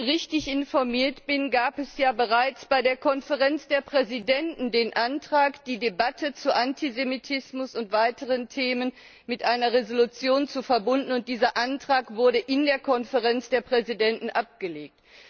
Wenn ich richtig informiert bin, gab es bereits in der Konferenz der Präsidenten den Antrag, die Debatte zu Antisemitismus und weiteren Themen mit einer Entschließung zu verbinden, und dieser Antrag wurde in der Konferenz der Präsidenten abgelehnt.